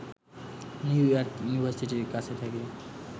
new York ইউনিভার্সিটির কাছে থাকি